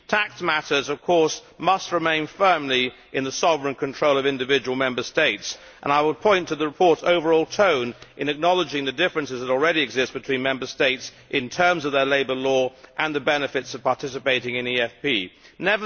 Tax matters, of course, must remain firmly in the sovereign control of individual Member States, and I would point to the report's overall tone in acknowledging the differences which already exist between Member States in terms of their labour law and the benefits of participating in the EFP scheme.